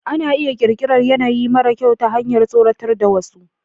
Ana iya ƙirƙirar yanayi mara kyau ta hanyar tsoratar da wasu.